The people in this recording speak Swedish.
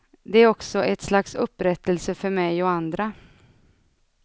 Det är också ett slags upprättelse för mig och andra.